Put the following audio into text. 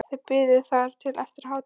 Þau biðu þar til eftir hádegi.